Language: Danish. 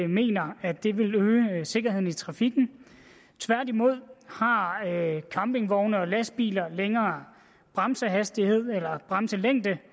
mener at det vil øge sikkerheden i trafikken tværtimod har campingvogne og lastbiler længere bremselængde